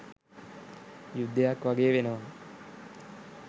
යුද්ධයක් වගේ වෙනවා.